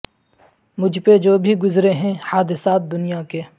مجھ پہ جو بھی گذرے ہیں حادثات دنیا کے